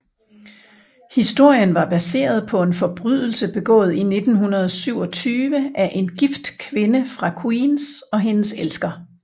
Historien var baseret på en forbrydelse begået i 1927 af en gift kvinde fra Queens og hendes elsker